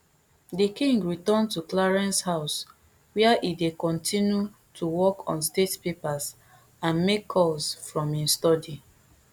di king return to clarence house wia e dey kontinu to work on state papers and make calls from im study